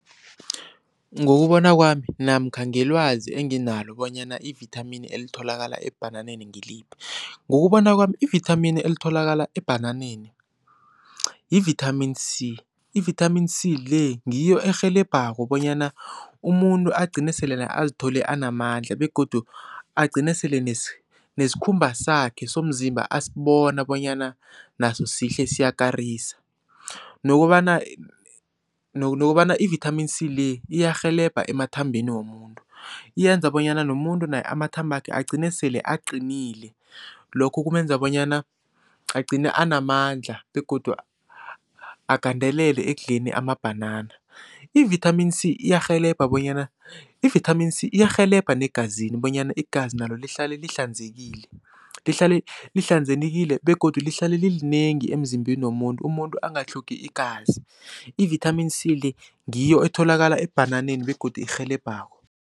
Ngokubona kwami namkha ngelwazi enginalo bonyana ivithamini elitholakala ebhananeni ngiliphi. Ngokubona kwami ivithamini elitholakala ebhananeni yi-vitamin c, i-vitamin c le ngiyo erhelebhako bonyana umuntu agcine selena azithole anamandla begodu agcine sele nesikhumba sakhe somzimba asibona bonyana naso sihle siyakarisa nokobana nokobana i-vitamin c le iyarhelebha emathambeni womuntu, yenza bonyana nomuntu naye amathambakhe agcine sele aqinile. Lokho kumenza bonyana agcine anamandla begodu agandelele ekudleni amabhanana. I-vitamin c iyarhelebha bonyana, i-vitamin c iyarhelebha negazini bonyana igazi nalo lihlale lihlanzekile lihlale lihlanzekile begodu lihlale lilinengi emzimbeni womuntu umuntu angatlhogi igazi, i-vitamin c le ngiyo etholakala ebhananeni begodu erhelebhako.